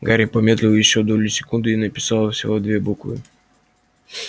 гарри помедлил ещё долю секунды и написал всего две буквы